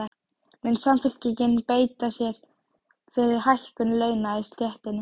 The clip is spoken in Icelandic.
Mun Samfylkingin beita sér fyrir hækkun launa í stéttinni?